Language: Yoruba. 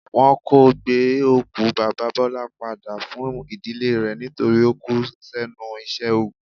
Wọn kò gbé òkú Baba Bọlá padà fún ìdílé rẹ̀ nítorí ó kú s'ẹ́nu iṣẹ́ ogun.